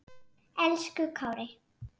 Elsku Kári.